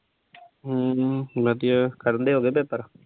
ਹਮ ਵਧੀਆ। ਦੇ ਹੋ ਗਏ ਪੇਪਰ?